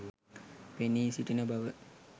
පෙනී සිටින බව.